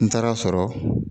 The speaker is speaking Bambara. N taara sɔrɔ